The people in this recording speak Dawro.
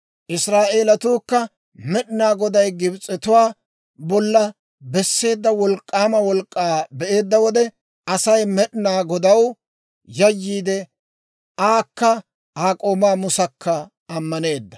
Israa'eelatuukka Med'inaa Goday Gibs'etuwaa bolla besseedda wolk'k'aama wolk'k'aa be'eedda wode, Asay Med'inaa Godaw yayyiide aakka Aa k'oomaa Musakka ammaneedda.